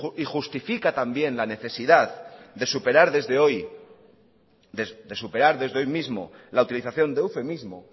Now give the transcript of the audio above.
y justifica también la necesidad de superar desde hoy mismo la utilización de eufemismo